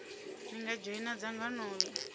ni nga dzhoina dzangano l